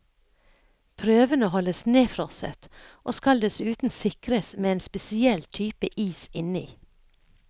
Prøvene holdes nedfrosset, og skal dessuten sikres med en spesiell type is inni.